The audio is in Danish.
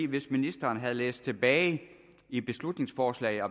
hvis ministeren havde læst tilbage i beslutningsforslaget og